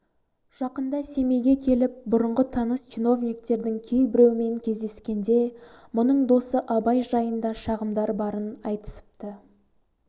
жақында семейге келіп бұрыңғы таныс чиновниктердің кейбіреуімен кездескенде мұның досы абай жайында шағымдар барын айтысыпты